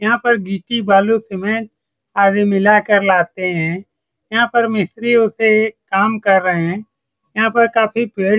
यहाँ पर गिट्टी बालू सीमेंट आदि मिलाकर लाते हैं | यहाँ पर मिस्रत्रियों से काम कर रहे हैं | यहाँ पर काफी पेड़ --